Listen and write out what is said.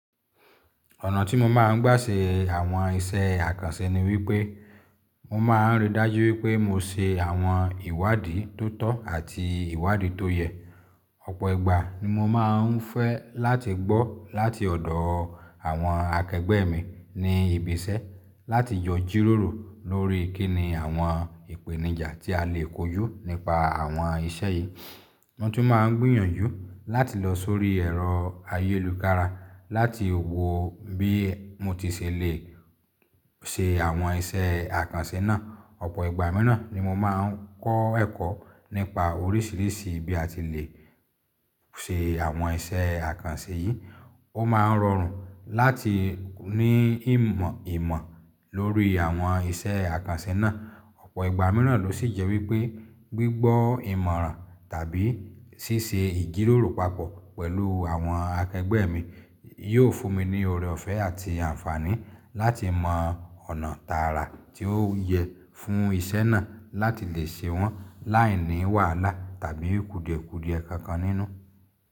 Ọ̀nà tí mo máa ń gbà ṣe àwọn iṣẹ́ àkànṣe ni wípé mo máa ń rí dájú wípé mo ṣe àwọn ìwádìí tó tọ́ àti ìwádìí tó yẹ. Ọ̀pọ̀ ìgbà ni mo máa ń fẹ́ láti gbọ́ láti ọ̀dọ̀ àwọn akẹgbẹ́ mi ní ibi iṣẹ́ láti jọ jíròrò lórí kíni àwọn ìpèníjà tí a lè kojú nípa àwọn iṣẹ́ yìí. Mo tún máa ń gbìyànjú láti lọ sórí ẹ̀rọ ayélujára láti wò bí mo ti ṣèlè ṣe àwọn iṣẹ́ àkànṣe náà. Ọ̀pọ̀ ìgbà mìíràn ni mo máa ń kọ́ ẹ̀kọ́ nípa oríṣìíríṣìí bí a ti le ṣe àwọn iṣẹ́ àkànṣe yìí. Ó máa ń rọrùn láti ní ìmọ̀ lórí àwọn iṣẹ́ àkànṣe náà. Ọ̀pọ̀ ìgbà mìíràn ló sì jẹ́ wípé gbígbọ́ ìmọ̀ràn tàbí ṣíṣe ìjíròrò papọ̀ pẹ̀lú àwọn akẹgbẹ́ mi yóò fún mi ní ọrọ̀ ọ̀fẹ́ àti àǹfààní láti mọ ọ̀nà tààrà tí ó yẹ fún ìṣe náà láti lè ṣe wọ́n láìní wàhálà tàbí kùdìẹ̀kùdìẹ kankan nínú.